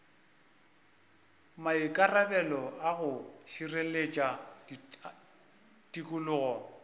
maikarabelo a go šireletša tikologo